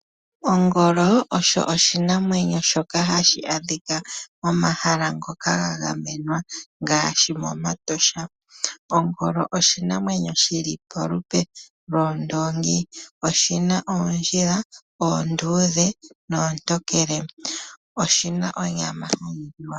Ongolo osho oshinamwenyo shoka hashi adhika momahala ngoka ga gamenwa ngaashi momatosha. Ongolo oshinamwenyo shili polupe lwoondoongi, oshina oondjila oonduudhe noontokele, oshina onyama yokuliwa.